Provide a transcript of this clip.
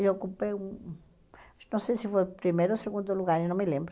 Eu ocupei o não sei se foi primeiro ou segundo lugar, eu não me lembro.